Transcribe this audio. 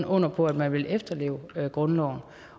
under på at man vil efterleve grundloven